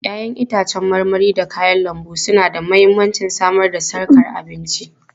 Ya'yan itãcen marmari da kayan lambu suna da mahimmancin samar da sarkar abinci.